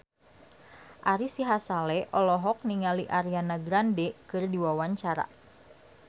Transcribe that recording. Ari Sihasale olohok ningali Ariana Grande keur diwawancara